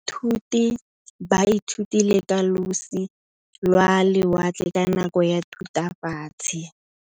Baithuti ba ithutile ka losi lwa lewatle ka nako ya Thutafatshe.